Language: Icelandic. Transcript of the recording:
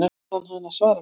Bað hana að svara mér.